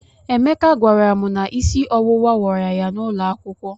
Emeka gwara m na isi ọwụwa wara ya n'ụlọ akwụkwọ.